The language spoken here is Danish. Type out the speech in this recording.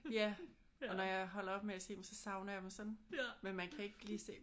Ja. Og når jeg holder op med at se dem så savner jeg dem sådan. Men man kan ikke lige se